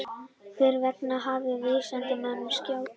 Hvers vegna hafði vísindamönnunum skjátlast?